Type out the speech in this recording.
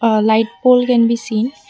a light pole can be seen.